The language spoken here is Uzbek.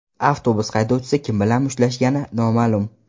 Avtobus haydovchisi kim bilan mushtlashgani noma’lum.